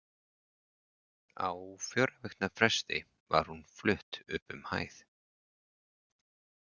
Á fjögurra vikna fresti var hún flutt upp um hæð.